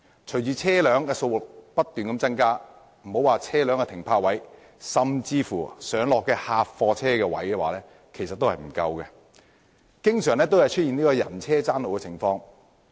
隨着車輛數目不斷增加，莫說是車輛停泊位，其實客貨車的上落位置也不足夠，經常出現人車爭路的情況。